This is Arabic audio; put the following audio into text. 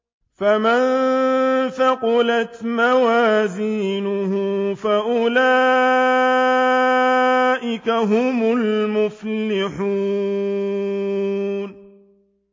فَمَن ثَقُلَتْ مَوَازِينُهُ فَأُولَٰئِكَ هُمُ الْمُفْلِحُونَ